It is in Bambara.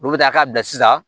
Olu bɛ taa ka bila sisan